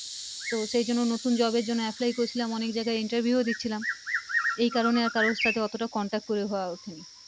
তো সে জন্য নতুন job এর জন্য apply করেছিলাম অনেক জায়গায় interview ও দিচ্ছিলাম এই কারনে কারো সাথে অতটা contact করে হওয়া উঠেনি তো